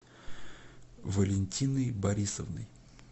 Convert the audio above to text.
валентиной борисовной